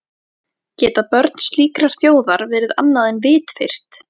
Geta börn slíkrar þjóðar verið annað en vitfirrt?